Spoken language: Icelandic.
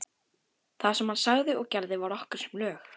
Það sem hann sagði og gerði var okkur sem lög.